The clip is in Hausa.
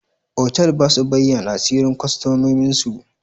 Otal ba su bayyana asirin customomin su.